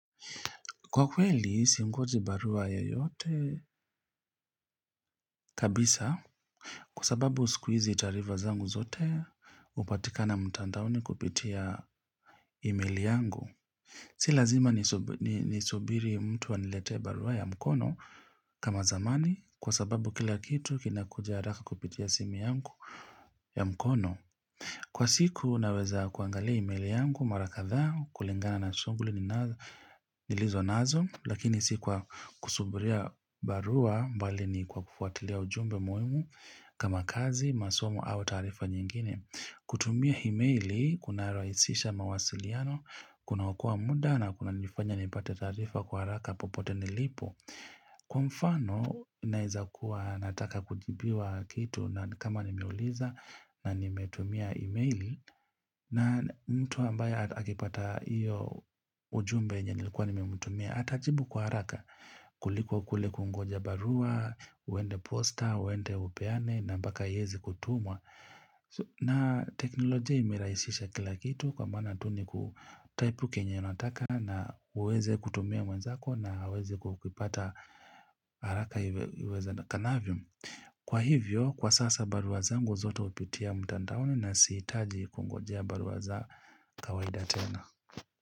Kwa kweli, siongoji barua yeyote kabisa kwa sababu siku hizi taarifa zangu zote hupatikana mtandaoni kupitia email yangu. Si lazima nisubiri mtu anilete barua ya mkono kama zamani kwa sababu kila kitu kinakuja haraka kupitia simi yangu ya mkono. Kwa siku naweza kuangalia email yangu, mara kadha, kulingana na shughuli nilizonazo, lakini sikuwa kusuburia barua mbali ni kwa kufuatilia ujumbe muhimu kama kazi, masomo au taarifa nyingine. Kutumia emeli, kuna rahisisha mawasiliano, kuna okoa muda na kuna nifanya nipate taarifa kwa haraka popote nilipo. Kwa mfano naeza kuwa nataka kujibiwa kitu na kama nimeuliza nanimetumia emeli na mtu ambaye akipata iyo ujumbe yenye nilikuwa nimemtumia atajibu kwa haraka kuliko kule kungoja barua, uende posta, uende upeane na mpaka ieze kutumwa na teknolojia imerahisisha kila kitu kwa maana tu ni kutaipu kenye nataka na uweze kutumia mwenzako na aweze kukipata haraka iwezekanavyo kwa hivyo kwa sasa barua zangu zote hupitia mtandaoni na sihitaji kungojea barua za kawaida tena.